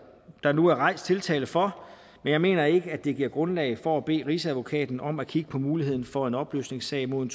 der nu er rejst tiltale for men jeg mener ikke at det giver grundlag for at bede rigsadvokaten om at kigge på muligheden for en opløsningssag mod en